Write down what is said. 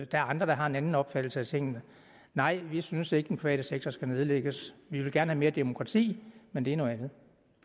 der er andre der har en anden opfattelse af tingene nej vi synes ikke at den private sektor skal nedlægges vi vil gerne have mere demokrati men det er noget andet